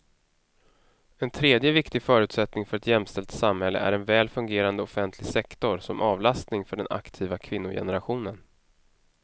En tredje viktig förutsättning för ett jämställt samhälle är en väl fungerande offentlig sektor som avlastning för den aktiva kvinnogenerationen.